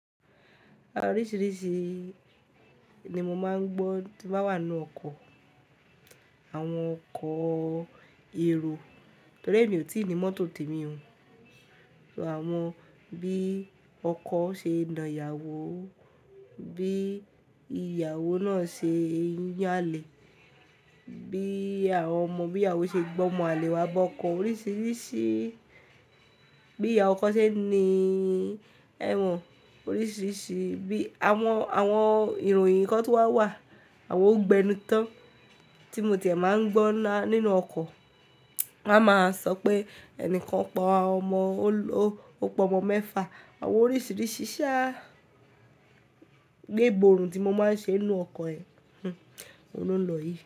Oríṣìíríṣìí ni mo máa ń gbọ́ tí m bá wà nú ọkọ̀, àwọn ọkọ̀ èrò torí èmi ò tí ì ní mọ́tò tèmi o So àwọn bí ọkọ ṣe na ìyàwó, bí ìyàwó náà ṣe ń yànlẹ̀, bí àwọn ọmọ bí ìyàwó ṣe gbọ́mọ àlè wá bọ́ ọkọ̀ oríṣìíríṣìí, bí ìyà ọkọ ṣe ń ní ẹwọ̀n oríṣìíríṣìí, bí àwọn, àwọn ìròyìn kan tun wà wà, àwọn ogbenután tí mo ti máa ń gbọ́ nínú ọkọ̀. Wọ́n á máa sọ pé ẹnìkan pa ọmọ, ó pọ ọmọ mẹ́fa, àwọn oríṣìíríṣìí sha gbéborun tí mo máa ń ṣe nínú ọkọ̀ ẹ, hhm, oun lo n lọ yìí.